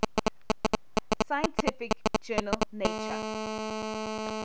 scientific journal nature